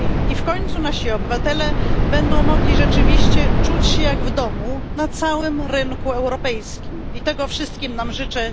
i w końcu nasi obywatele będą mogli rzeczywiście czuć się jak w domu na całym rynku europejskim, czego wszystkim nam życzę.